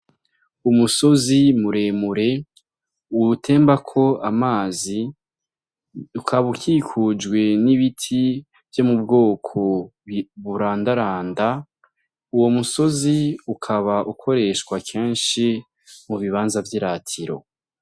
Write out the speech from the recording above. Umusozi muremure utembako amazi ukaba ukikujwe n'ibiti vyo mu bwoko burandaranda uwo musozi ukaba ukoreshwa kenshi mu bibanza vyiratiro.